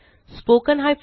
spoken tutorialorgnmeict intro